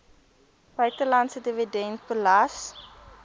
buitelandse dividend belas